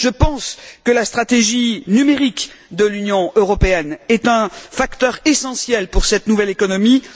Je pense que la stratégie numérique de l'Union européenne est un facteur essentiel pour cette nouvelle économie.